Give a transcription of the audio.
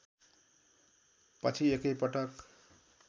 पछि एकैपटक